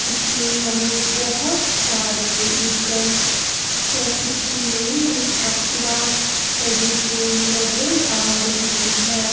इसमें हमें बहोत सारे व्हीकल्स जैसे कि नई नई एक्टिवा पड़ी हुई नजर आ रही है।